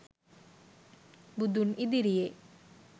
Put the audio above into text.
බුදුන් ඉදිරියේ